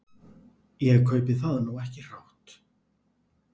Ég kaupi það nú ekki hrátt.